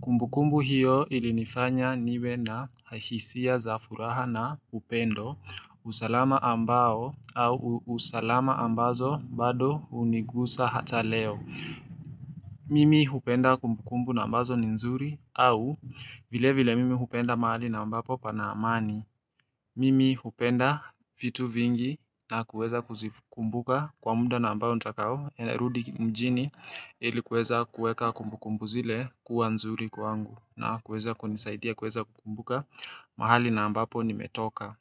Kumbukumbu hiyo ilinifanya niwe na hisia za furaha na upendo usalama ambazo bado hunigusa hata leo. Mimi hupenda kumbukumbu ambazo ni nzuri, au vilevile mimi hupenda mahali ambapo pana amani. Mimi hupenda vitu vingi, na kuweza kuzikumbuka kwa muda ambao nitakaorudi mjini Ili kuweka kumbukumbu zile kuwa nzuri kwangu na kuweza kunisaidia kuweza kukumbuka mahali ambapo nimetoka.